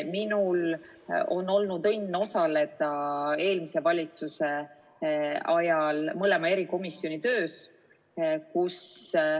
Minul on olnud õnn osaleda eelmise valitsuse ajal mõlema erikomisjoni töös.